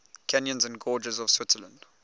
canyons and gorges of switzerland